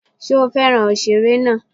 Ṣé ó fẹ́ràn òṣèré náà?